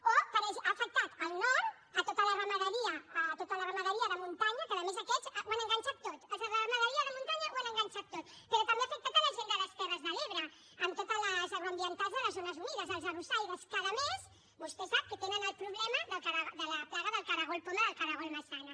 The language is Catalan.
o ha afectat el nord tota la ramaderia de muntanya que a més aquests ho han enganxat tot els de ramaderia de muntanya ho han enganxat tot però també ha afectat la gent de les terres de l’ebre amb totes les agroambientals de les zones unides els arrossaires que a més vostè sap que tenen el problema de la plaga del cargol poma del cargol maçana